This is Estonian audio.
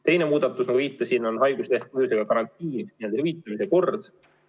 Teine muudatus, millele ma viitasin, on karantiini jäämisel haiguslehe hüvitamise kord.